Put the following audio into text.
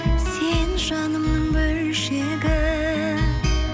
сен жанымның бөлшегі